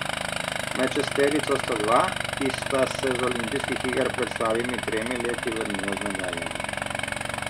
Med šesterico sta dva, ki sta se z olimpijskih iger pred slabimi tremi leti vrnila z medaljami.